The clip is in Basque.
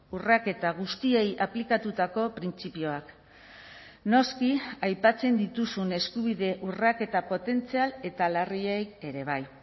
urraketa guztiei aplikatutako printzipioak noski aipatzen dituzun eskubide urraketa potentzial eta larriei ere bai